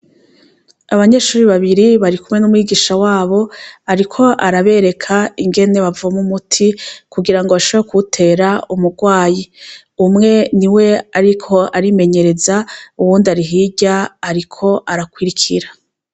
Abanyeshure babiri barikumwe n'umwigisha wabo ariko arabereka ingene bavoma umuti kugirango bashobore kuwutera umugwayi, umwe niwe ariko arimenyereza ,uwundi ari hirya ariko arakwirikira.